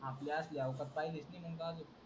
आपल्यातली अवकात पहिलीच नही मग त्या अजून.